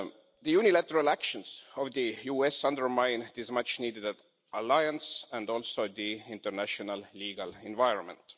The unilateral actions of the US undermine this much needed alliance and also the international legal environment.